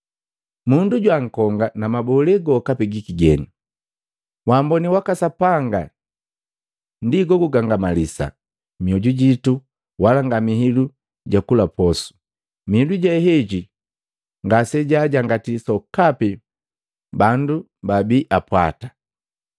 Mundu jwaankonga na mabole gokapi giki geni. Waamboni waka Sapanga ndi go gugangamalisa mioju jitu wala nga mihilu ja kula posu, mihilu je heji ngase jaajangati sokapi bandu babiipwata.